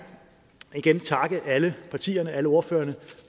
igen takke alle partierne alle ordførerne